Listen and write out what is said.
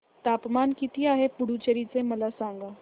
तापमान किती आहे पुडुचेरी चे मला सांगा